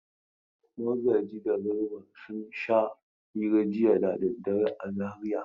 Magaji da Garba sun sha hira jiya da daddare a Zariya.